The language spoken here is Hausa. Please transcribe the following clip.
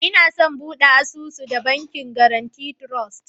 Inason bude asusu da Bankin Guarantee Trust.